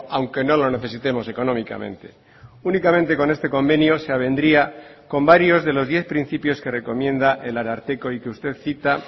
aunque no lo necesitemos económicamente únicamente con este convenio se avendría con varios de los diez principios que recomienda el ararteko y que usted cita